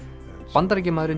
Bandaríkjamaðurinn